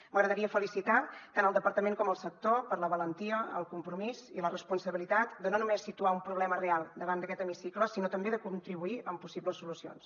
m’agradaria felicitar tant el departament com el sector per la valentia el compromís i la responsabilitat de no només situar un problema real davant d’aquest hemicicle sinó també de contribuirhi amb possibles solucions